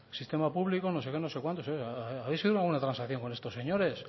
sistema público no sé qué no sé cuántos oye habéis llegado a una buena transacción con estos señores